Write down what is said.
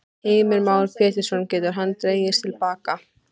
Heimir Már Pétursson: Getur hann dregið til baka?